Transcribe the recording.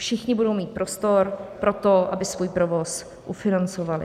Všichni budou mít prostor pro to, aby svůj provoz ufinancovali.